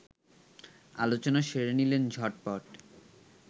আলোচনা সেরে নিলেন ঝটপট